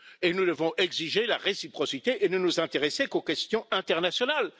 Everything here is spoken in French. Et nous devons exiger la réciprocité et ne nous intéresser qu'aux questions internationales.